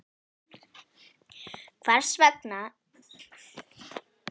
Hvers vegna eru gluggatjöldin alltaf höfð dregin fyrir í þingsalnum?